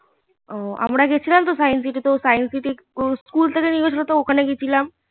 ও আমরা গেছিলাম তো সাইন্স সিটি তো সাইন্স সিটি স্কুল থেকে নিয়ে গেছিলো ওখান থেকে গেছিলাম